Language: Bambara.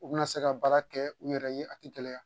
U bɛna se ka baara kɛ u yɛrɛ ye a tɛ gɛlɛya